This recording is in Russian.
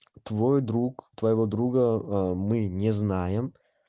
твой друг твоего друга а мы не знаем